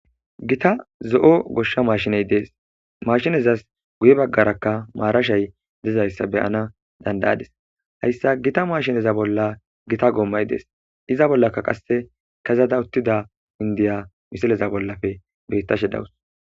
gita zo7o goshsha maashiney dees mashinezas guye baggarakka maarashay dezayssa beyana dandayades hayssa gita maashineza bolla gita goommay dees iza bollaka qasse kezada uttida indiya misileza bollafe beyttashe dawus